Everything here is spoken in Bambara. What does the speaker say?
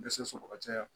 Dɛsɛ sɔrɔ ka caya